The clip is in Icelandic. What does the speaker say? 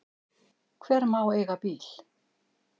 Hver má eiga bíl?